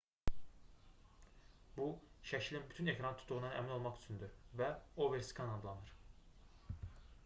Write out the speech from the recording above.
bu şəklin bütün ekranı tutduğundan əmin olmaq üçündür və overskan adlanır